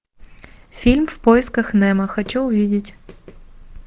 фильм в поисках немо хочу увидеть